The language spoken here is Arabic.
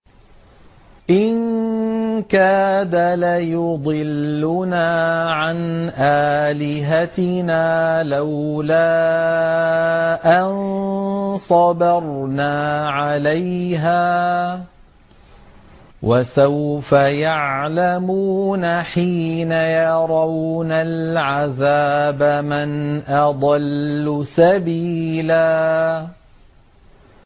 إِن كَادَ لَيُضِلُّنَا عَنْ آلِهَتِنَا لَوْلَا أَن صَبَرْنَا عَلَيْهَا ۚ وَسَوْفَ يَعْلَمُونَ حِينَ يَرَوْنَ الْعَذَابَ مَنْ أَضَلُّ سَبِيلًا